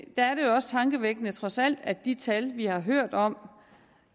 er det jo også tankevækkende trods alt at de tal vi har hørt om